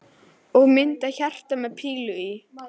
Og mynd af hjarta með pílu í.